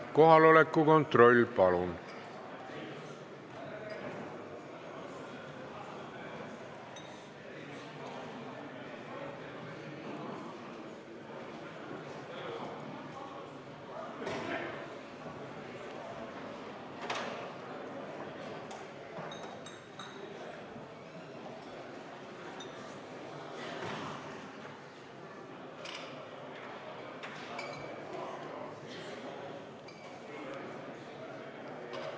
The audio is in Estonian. Kohaloleku kontroll, palun!